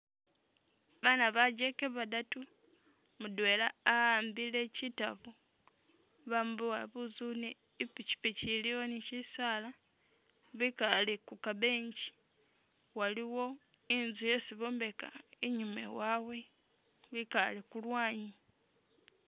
Bana bajeke badatu, mudwela a'ambile kyitabo bamuboya buzuune ipichipichi iliwo ni shisaala bikale ku ka bench waliwo inzu yesi bombeka inyuma ewaabwe bikale ku lwanyi.